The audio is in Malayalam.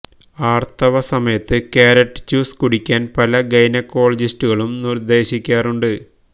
ആര്ത്തവ സമയത്ത് കാരറ്റ് ജ്യൂസ് കുടിക്കാന് പല ഗൈനക്കോളജിസ്റ്റുകളും നിര്ദ്ദേശിക്കാറുണ്ട്